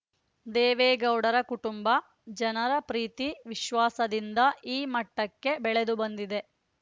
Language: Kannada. ದೇವೇಗೌಡರ ಕುಟುಂಬ ಜನರ ಪ್ರೀತಿ ವಿಶ್ವಾಸದಿಂದ ಈ ಮಟ್ಟಕ್ಕೆ ಬೆಳೆದುಬಂದಿದೆ